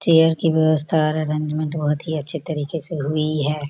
Chair की व्यवस्था orange रंग बहुत ही अच्छे तरीके से हुई है।